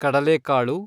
ಕಡಲೆಕಾಳು